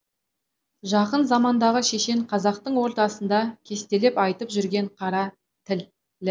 жақын замандағы шешен қазақтың ортасында кестелеп айтып жүрген қара тілі